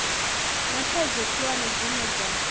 na thaidzo khulwane dzine dza